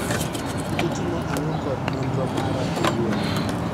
Itimo ang'o kod nonro mara owuon